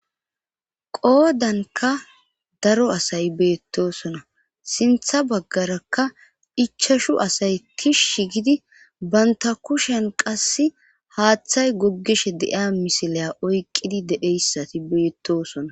qoodanka daro asay beettosona sintha baggarakka ichashu asay kish shi gidi banta kushen qasse haaththay goggishe de7iya misilaya oyqqidi dedheyssati beettosona